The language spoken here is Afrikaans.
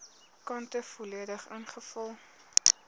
kante volledig ingevul